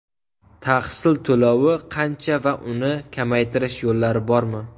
Tahsil to‘lovi qancha va uni kamaytirish yo‘llari bormi?